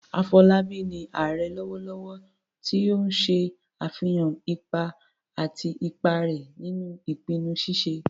Afolabi ni "Ààrẹ " lọwọlọwọ, ti o n ṣe afihan ipa àti ipa rẹ̀ nínú ìpinnu ṣíṣe